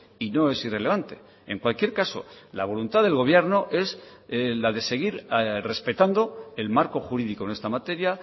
y no es irrelevante en cualquier caso la voluntad del gobierno es la de seguir respetando el marco jurídico en esta materia